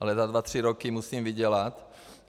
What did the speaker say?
Ale za dva tři roky musím vydělat.